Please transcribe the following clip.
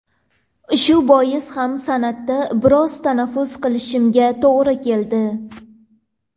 Shu bois ham san’atda biroz tanaffus qilishimga to‘g‘ri keldi.